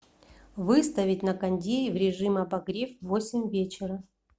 выставить на кондее в режим обогрев в восемь вечера